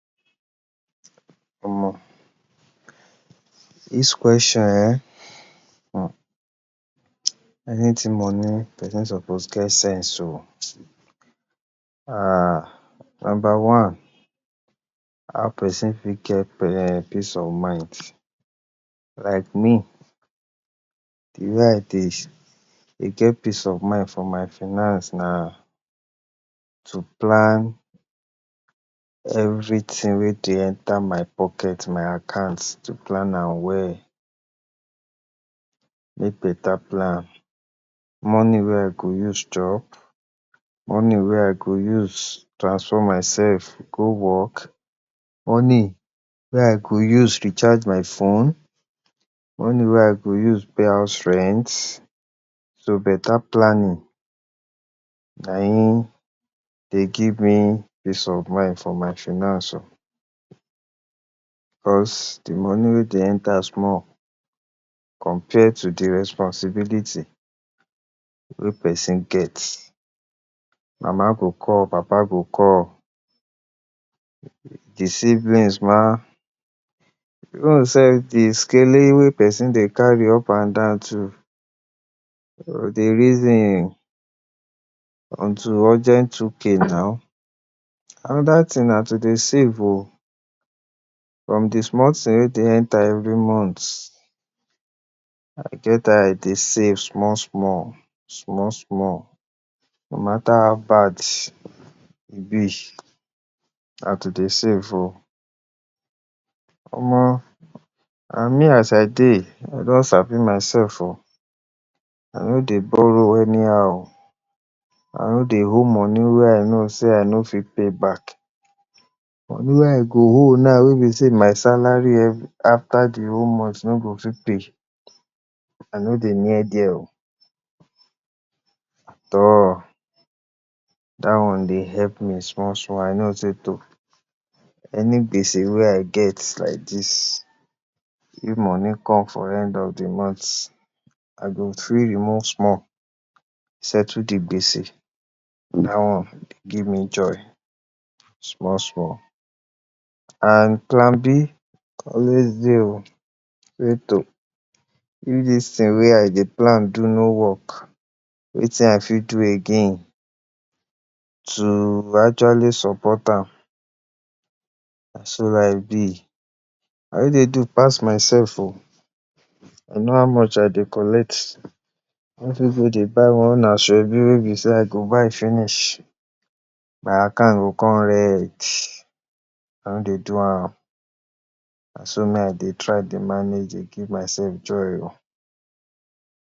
Omo, dis question um anything money, pesin suppose get sense oh em number one how person fit get peace of mind? like me de way I dey get peace of mind for my finance na to plan everyting wey dey enter my pocket, my account to plan am well make beta plan. money wey I go use chop money wey I go use transport myself go work, money wey I go use recharge my phone, money wey I go use pay house rent. so beta planning na im dey give me peace of mind for my finance because de money wey dey enter small compared to the responsibility wey person get. mama go call, papa go call, de siblings em even sef de wey person dey carry up and down too. you go dey reason to send urgent 2k naw. anoda ting na to dey save oh from de small ting wey dey enter every month, e get how I dey save small small small small no mata how bad e be, na to dey save oh. omo and me as I dey, I don sabi myself oh. I no dey borrow any how I no dey owe money wey I know sey I no fit pay back. money wey I go owe wey be sey my salary after de whole month no go fit pay, I no dey near dia oh at all. dat one dey help me small small. I know sey to any gbese wey I get like dis, if money come for end of de month, I go fit remove small settle de gbese na dat one dey give me joy small small and plan b always dey oh. wey to if dis tin way I dey plan no work, wetin I go fit do again to actually support am na so life be. I no dey do pass myself oh! I know how much I dey collect, I no fit dey even buy asoebi wey be sey I go buy finish my account go come red, I no dey do am na so me I dey manage to give myself joy.